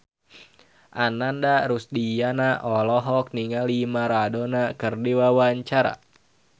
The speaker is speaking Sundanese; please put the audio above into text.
Ananda Rusdiana olohok ningali Maradona keur diwawancara